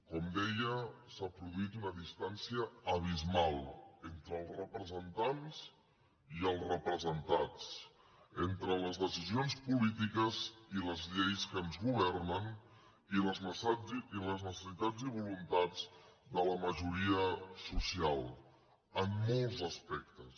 com deia s’ha produït una distància abismal entre els representants i els representats entre les decisions polítiques i les lleis que ens governen i les necessitats i voluntats de la majoria social en molts aspectes